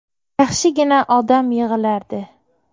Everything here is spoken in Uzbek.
Yaxshigina odam yig‘ilardi.